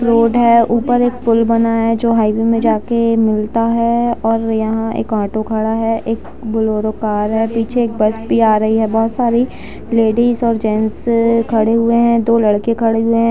Road है ऊपर एक पूल बना है जो हाईवे में जाके मिलता है और यहां एक ऑटो खड़ा है एक बोलोरो कार है पीछे एक बस भी आ रही है बहोत सारी लेडीज और जेंट्स खड़े हुए हैं दो लड़के खड़े हुए हैं।